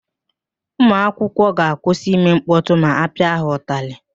Ụmụakwụkwọ ga-akwụsị ime mkpọtụ ma ọ pịa ha ụtalị.